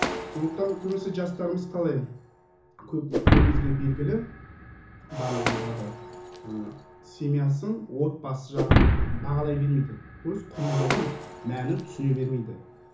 сондықтан көбінесе жастарымыз қалай көп көбімізге белгілі барлығымызға да ы семьясын отбасы жағын бағалай бермейді то есть құндылығын мәнін түсіне бермейді